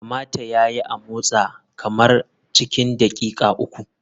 Kamata ya yi a motsa kamara cikin daƙiƙa uku.